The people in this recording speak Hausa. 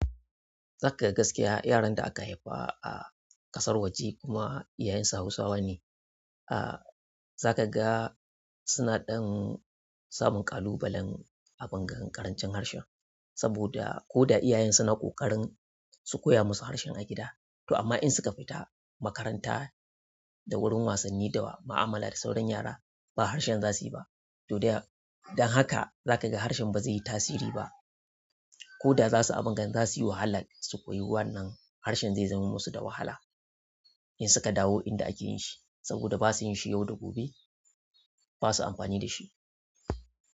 Zaka ga gaskiya yaran da aka haifa a ƙasar waje kuma iyayensu Hausawa ne, a za ka ga suna ɗan samun ƙalubalen abungan ƙarancin harshen. Saboda ko da iyayen su na ƙoƙarin su koya musu harshen a gida to amma in suka fita makaranta da wurin wasan ni da ma'amala da sauran yara ba harshen zasuyi ba to don haka za ka ji harshen ba zai yi tasiri ba koda za suyi abun gan zasuyi wahala su koyi wannan harshen zai zaman musu da wahala in suka dawo inda ake yin shi saboda ba su yin shi yau da gobe ba sa amfani da shi.